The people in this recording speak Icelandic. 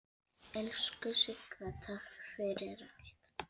Elsku Sigga, takk fyrir allt.